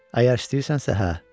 Əgər istəyirsənsə, hə.